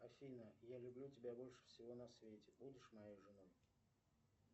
афина я люблю тебя больше всего на свете будешь моей женой